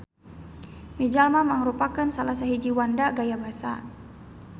Mijalma mangrupakeun salasahiji wanda gaya basa.